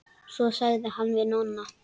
Svo sagði hann við Nonna.